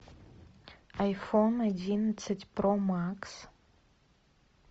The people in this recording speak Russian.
айфон одиннадцать про макс